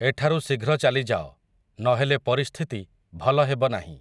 ଏଠାରୁ ଶୀଘ୍ର ଚାଲିଯାଅ, ନହେଲେ ପରିସ୍ଥିତି, ଭଲ ହେବ ନାହିଁ ।